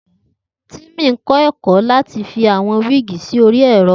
Timi n kọ ẹkọ lati fi awọn wigi sori ẹrọ